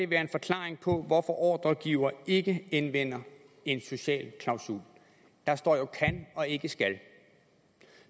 være en forklaring på hvorfor ordregiver ikke anvender en social klausul der står jo kan og ikke skal